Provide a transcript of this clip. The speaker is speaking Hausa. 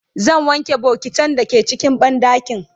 zan wanke bokitan da ke cikin banɗakin